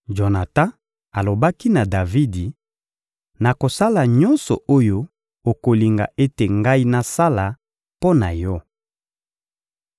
Jonatan alobaki na Davidi: — Nakosala nyonso oyo okolinga ete ngai nasala mpo na yo.